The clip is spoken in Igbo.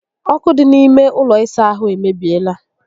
Ókụ́ dị n'ime ụlọ ịsa ahụ emebiela